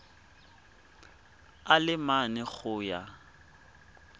a le mane go ya